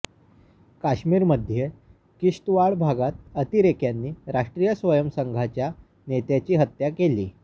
काश्मीरमध्ये किश्तवाड भागात अतिरेक्यांनी राष्ट्रीय स्वयंसेवक संघाच्या नेत्याची हत्या केली